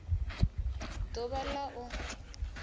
d uvha l a u